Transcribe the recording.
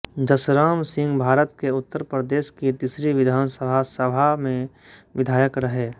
जसराम सिंहभारत के उत्तर प्रदेश की तीसरी विधानसभा सभा में विधायक रहे